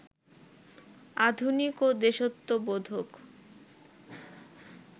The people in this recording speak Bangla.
আধুনিক ও দেশাত্মবোধক